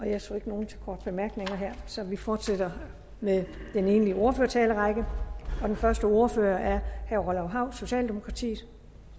jeg ser ikke nogen til korte bemærkninger her så vi fortsætter med den egentlige ordførertalerrække den første ordfører er herre orla hav socialdemokratiet